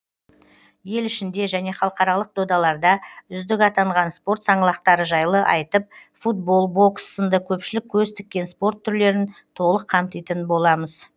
ел ішінде және халықаралық додаларда үздік атанған спорт саңлақтары жайлы айтып футбол бокс сынды көпшілік көз тіккен спорт түрлерін толық қамтитын боламыз